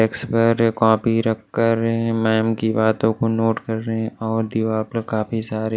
desk पर copy रखकर ma'am की बातों को नोट कर रहे है और दीवार पर काफी सारे--